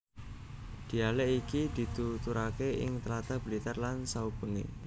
Dhialèk iki dituturake ing tlatah Blitar lan saubengé